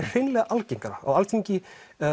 hreinlega algengara á Alþingi